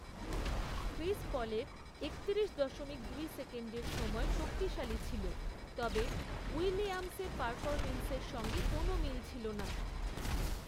Chris পলের একতিরিশ দশমিক দুই সেকেন্ডের সময় শক্তিশালী ছিল, তবে উইলিয়ামসের পারফরম্যান্সের সঙ্গে কোনও মিল ছিল না।